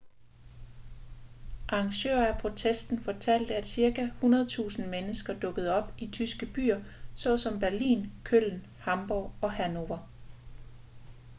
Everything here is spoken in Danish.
arrangører af protesten fortalte at cirka 100.000 mennesker dukkede op i tyske byer såsom berlin köln hamborg og hanover